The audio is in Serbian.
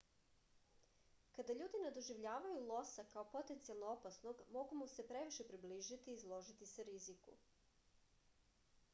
kada ljudi ne doživljavaju losa kao potencijalno opasnog mogu mu se previše približiti i izložiti se riziku